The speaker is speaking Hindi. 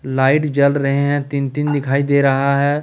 लाइट जल रहे हैं तीन तीन दिखाई दे रहा है।